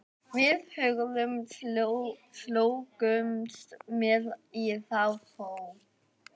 Við Hörður slógumst með í þá för.